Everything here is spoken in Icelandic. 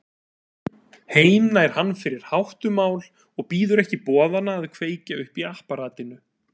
Heim nær hann fyrir háttumál og bíður ekki boðanna að kveikja upp í apparatinu.